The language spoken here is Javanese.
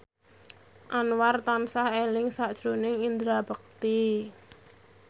Anwar tansah eling sakjroning Indra Bekti